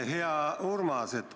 Hea Urmas!